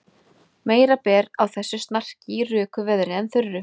Meira ber á þessu snarki í röku veðri en þurru.